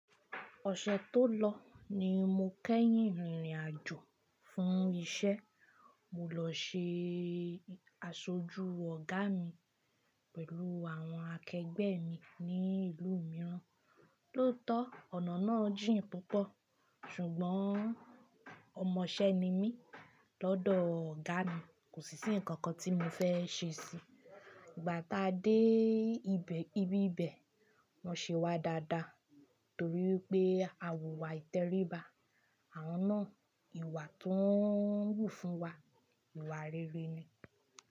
Ọ̀sẹ̀ tó lọ ni mo kẹ́yìn rìnrìn àjò fún iṣẹ́. Mo lọ ṣe aṣojú ọ̀gá mi pẹ̀lú àwọn akẹgbẹ́ mi ní ìlú mìíràn. Lóòótọ́ ọ̀nà náà jìn púpọ̀ ṣùgbọ́n ọmọṣẹ́ ni mí lọ́dọ̀ ọ̀gá mi. Kò sí íǹ ǹkankan tí mo fẹ́ ṣe sí i. Ìgbà tá a dé ibí ibẹ̀ wọ́n ṣe wá dáadáa torí pé àwọ̀ wa ìtẹríba. Àwọn náà ìwà tí wọ́n wù fún wa, ìwà rere ni.